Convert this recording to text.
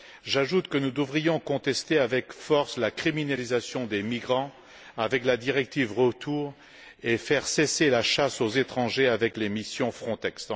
J'ajoute que nous devrions contester avec force la criminalisation des migrants avec la directive retour et faire cesser la chasse aux étrangers avec les missions Frontex.